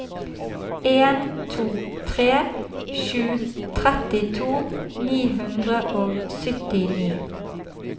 en to tre sju trettito ni hundre og syttini